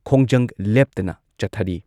ꯈꯣꯡꯖꯪ ꯂꯦꯞꯇꯅ ꯆꯠꯊꯔꯤ꯫